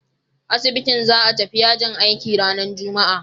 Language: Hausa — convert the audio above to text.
Asibitin za a tafi yajin aiki ranar Juma'a.